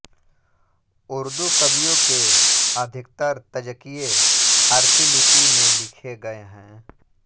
उर्दू कवियों के अधिकतर तज़किए फ़ारसी लिपि में लिखे गए हैं